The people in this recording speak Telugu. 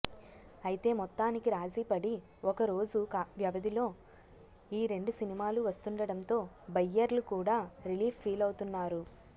అయితే మొత్తానికి రాజీ పడి ఒక రోజు వ్యవధిలో ఈ రెండు సినిమాలు వస్తుండడంతో బయ్యర్లు కూడా రిలీఫ్ ఫీలవుతున్నారు